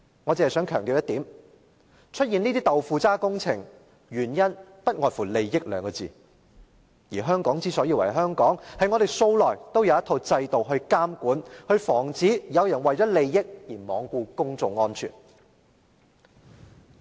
我只想強調一點，出現這些"豆腐渣"工程，原因不外乎利益二字，而香港之所以為香港，是因為我們素來也有一套制度來監管和防止有人為了利益而罔顧公眾安全。